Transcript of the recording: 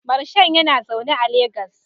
Marshal yana zaune a Legas